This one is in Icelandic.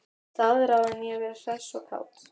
Staðráðin í að vera hress og kát.